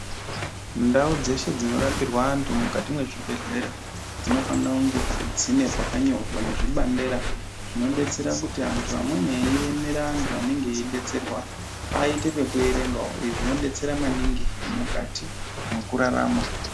Ndau dzeshe dzinorapirwa anhu mukati mwezvibhehleya dzinofanire kunge dzine pakanyorwa nezvibandera zvinodetsera kuti antu amweni anenge eiemera antu anenge eiidetserwa aite pekuerengawo izvi zvinodetsera maningi mukati mwekururama.